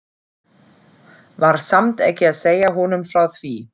Var samt ekki að segja honum frá því.